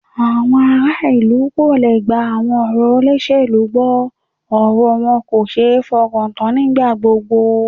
Àwọn ará ìlú kò le gba ọ̀rọ̀ àwọn olóṣèlú gbọ́, ọ̀rọ̀ wọn kò ṣe é fọkàntán nígbà gbogbo